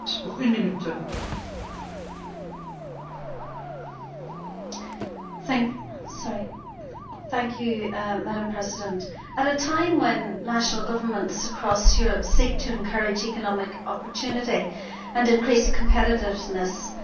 Madam President, at a time when national governments across Europe are seeking to encourage economic opportunity and increase competitiveness, it is disheartening that this Parliament is yet again considering proposals that will restrict the activity of lorry drivers.